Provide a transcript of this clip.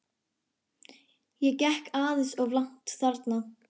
Ég gekk aðeins of langt þarna.